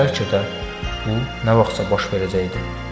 Bəlkə də bu nə vaxtsa baş verəcəkdi.